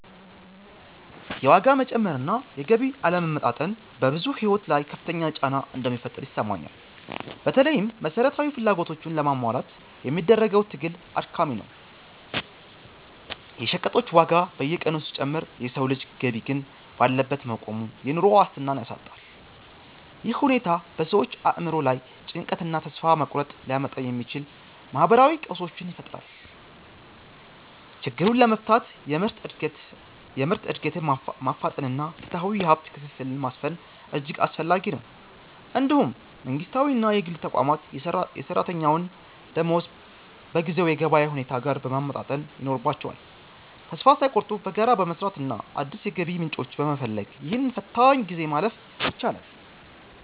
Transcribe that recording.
የዋጋ መጨመር እና የገቢ አለመመጣጠን በብዙዎች ሕይወት ላይ ከፍተኛ ጫና እንደሚፈጥር ይሰማኛል። በተለይም መሠረታዊ ፍላጎቶችን ለማሟላት የሚደረገው ትግል አድካሚ ነው። የሸቀጦች ዋጋ በየቀኑ ሲጨምር የሰው ልጅ ገቢ ግን ባለበት መቆሙ፣ የኑሮ ዋስትናን ያሳጣል። ይህ ሁኔታ በሰዎች አእምሮ ላይ ጭንቀትንና ተስፋ መቁረጥን ሊያመጣ ስለሚችል፣ ማኅበራዊ ቀውሶችን ይፈጥራል። ችግሩን ለመፍታት የምርት ዕድገትን ማፋጠንና ፍትሐዊ የሀብት ክፍፍልን ማስፈን እጅግ አስፈላጊ ነው። እንዲሁም መንግሥታዊና የግል ተቋማት የሠራተኛውን ደመወዝ በጊዜው የገበያ ሁኔታ ጋር ማመጣጠን ይኖርባቸዋል። ተስፋ ሳይቆርጡ በጋራ በመሥራትና አዳዲስ የገቢ ምንጮችን በመፈለግ፣ ይህንን ፈታኝ ጊዜ ማለፍ ይቻላል።